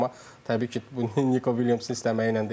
Amma təbii ki, bu Niko Williamsın istəməyi ilə deyil.